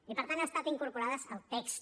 i per tant han estat incorporades al text